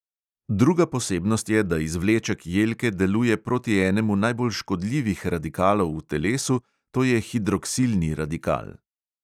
Druga posebnost je, da izvleček jelke deluje proti enemu najbolj škodljivih radikalov v telesu, to je hidroksilni radikal.